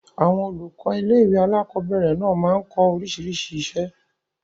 Àwọn olùkọ́ ilé-ìwé alákobẹ̀rẹ̀ náà máa n kọ́ oríṣiríṣi iṣẹ́